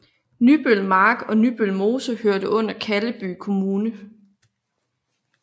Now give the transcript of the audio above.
Nybølmark og Nybølmose hørte under Kalleby Kommune